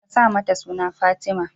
Ka sa mata suna Fatima.